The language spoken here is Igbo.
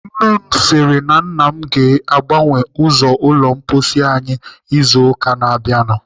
Nne m si na nna m ga-agbanwe ụzọ ụlọ mposi anyị izu ụka na-abịanụ.